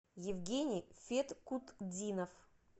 евгений феткутдинов